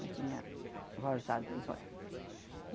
Já tinha rosado os olho.